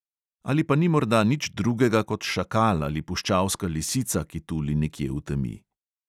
Ali pa ni morda nič drugega kot šakal ali puščavska lisica, ki tuli nekje v temi.